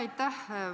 Aitäh!